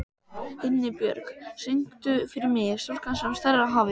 Himinbjörg, syngdu fyrir mig „Stúlkan sem starir á hafið“.